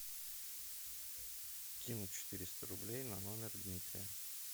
кинуть четыреста рублей на номер дмитрия